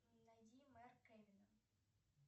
найди марк кевина